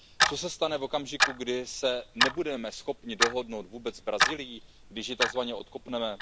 Co se stane v okamžiku, kdy se nebudeme schopni dohodnout s Brazílií, když ji takzvaně odkopneme?